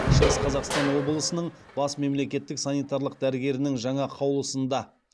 шығыс қазақстан облысының бас мемлекеттік санитариялық дәрігерінің жаңа қаулысында